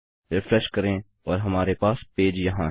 refresh करें और हमारे पास पेज यहाँ है